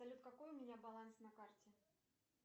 салют какой у меня баланс на карте